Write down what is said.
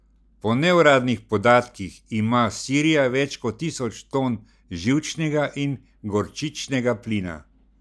Po neuradnih podatkih ima Sirija več kot tisoč ton živčnega in gorčičnega plina.